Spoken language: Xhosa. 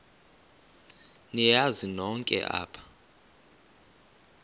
niyazi nonk apha